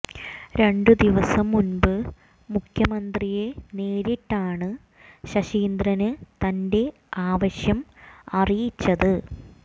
രണ്ട് ദിവസം മുന്പ് മുഖ്യമന്ത്രിയെ നേരിട്ടാണ് ശശീന്ദ്രന് തന്റെ ആവശ്യം അറിയിച്ചത്